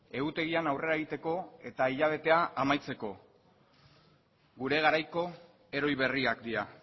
egutegian aurrera egiteko eta hilabetea amaitzeko gure garaiko heroi berriak dira